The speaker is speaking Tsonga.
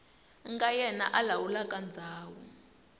nga yena a lawulaka ndhawu